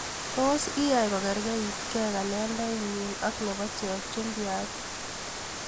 Tos iyai kokarkaitke kalendainye ak nebo chepchumbiat?